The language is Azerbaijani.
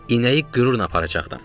İnəyi qürurla aparacaqdım.